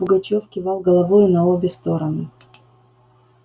пугачёв кивал головою на обе стороны